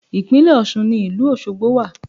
Ìpínlẹ̀ Ọ̀ṣun ni ìlú Ọ̀ṣọgbo wà